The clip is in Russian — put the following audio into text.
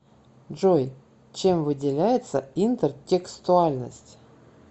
джой чем выделяется интертекстуальность